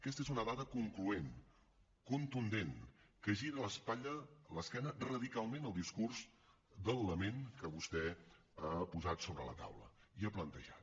aquesta és una dada concloent contundent que gira l’esquena radicalment al discurs del lament que vostè ha posat sobre la taula i ha plantejat